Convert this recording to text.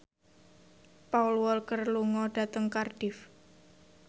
Paul Walker lunga dhateng Cardiff